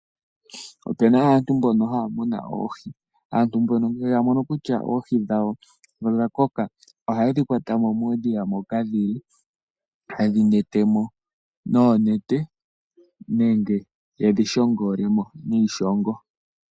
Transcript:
Opuna aantu mbono haya munu oohi. Aantu mbono ngele ya mono kutya oohi dhawo odha koka ohaye dhi kwatamo muudhiya moka dhili. Hayedhi kwatamo noonete nenge yedhi shongolemo niishongo.